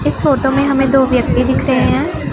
इस फोटो में हमें दो व्यक्ति दिख रहे हैं।